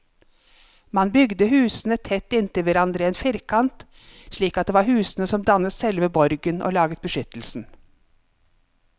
Man bygde husene tett inntil hverandre i en firkant, slik at det var husene som dannet selve borgen og laget beskyttelsen.